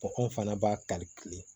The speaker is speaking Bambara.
fana b'a kari kile